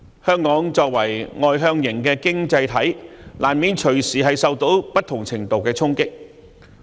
香港作為外向型的經濟體，難免隨時受到不同程度的衝擊。